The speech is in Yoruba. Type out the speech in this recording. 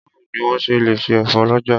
Báwo ni wọ́n ń ṣe lè efo lọ́jà.